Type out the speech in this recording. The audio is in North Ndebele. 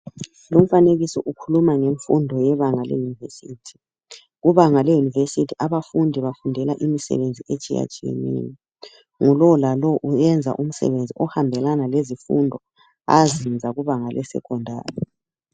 Umfanekiso ukhuluma ngemfundo yebanga leuniversity. Kubanga leuniversity abafundi bafundela imisebenzi etshiyatshiyaneyo ngulo lalo uyenza umsebenzi ohambelaba lezifundo azenza kubanga lesecondary